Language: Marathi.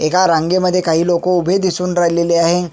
एका रांगे मध्ये काही लोक उभे दिसून राहिलेले आहे.